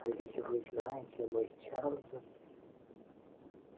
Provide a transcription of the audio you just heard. а ведь вы знаете мы с чарлзом